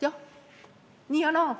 Jah, nii ja naa.